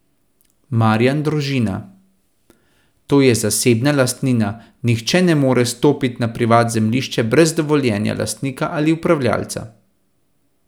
Marijan Drožina: "To je zasebna lastnina, nihče ne more stopit na privat zemljišče brez dovoljenja lastnika ali upravljalca.